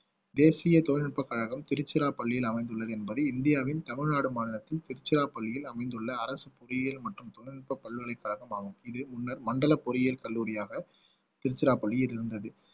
தேசிய தொழில்நுட்பக் கழகம் திருச்சிராப்பள்ளியில் அமைந்துள்ளது என்பது இந்தியாவின் தமிழ்நாடு மாநிலத்தின் திருச்சிராப்பள்ளியில் அமைந்துள்ள அரசு பொறியியல் மற்றும் தொழில்நுட்ப பல்கலைக் கழகம் ஆகும் இது முன்னர் மண்டல பொறியியல் கல்லூரியாக திருச்சிராப்பள்ளியில் இருந்தது